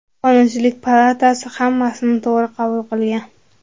Qonunchilik palatasi hammasini to‘g‘ri qabul qilgan.